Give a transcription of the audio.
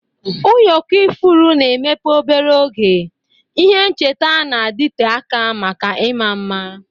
Ụyọkọ ifuru na-emepe obere oge, ihe ncheta na-adịte aka maka ịma mma.